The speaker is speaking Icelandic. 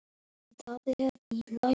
Skref fyrir skrif.